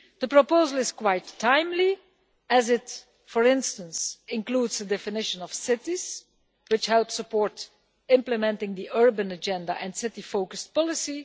The proposal is quite timely as it, for instance, includes a definition of cities that helps support the implementing of the urban agenda and city focused policy.